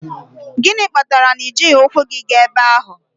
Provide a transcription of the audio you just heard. Gịnị kpatara na i jighị ụkwụ gị gaa ebe ahụ?